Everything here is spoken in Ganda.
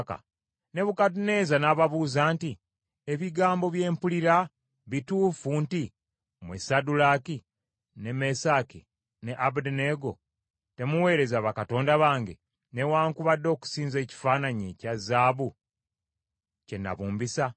Nebukadduneeza n’ababuuza nti, “Ebigambo bye mpulira bituufu nti mmwe Saddulaaki, ne Mesaki ne Abeduneego temuweereza bakatonda bange, newaakubadde okusinza ekifaananyi ekya zaabu kye nabumbisa?